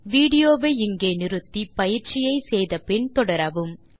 video வை இங்கே நிறுத்தி பயிற்சியை செய்து முடித்து பின் தொடரவும்